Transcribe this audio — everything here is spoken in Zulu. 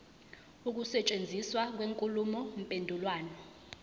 ukusetshenziswa kwenkulumo mpendulwano